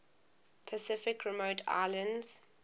pacific remote islands